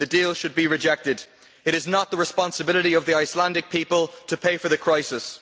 the deal should be rejected. It is not the responsibility of the Icelandic people to pay for the crisis.